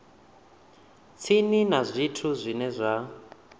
tsini na zwithu zwine zwa